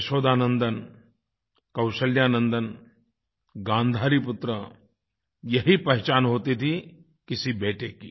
यशोदानंदन कौशल्यानंदन गांधारीपुत्र यही पहचान होती थी किसी बेटे की